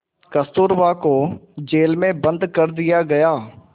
कस्तूरबा को जेल में बंद कर दिया गया